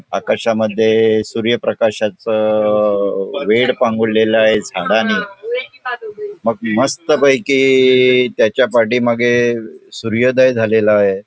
आकाशामध्ये सूर्यप्रकाशाचं अ वेड पांघुरलेला आहे झाडांनी मग मस्तपैकी त्याच्या पाठीमागे सूर्योदय झालेला आहे.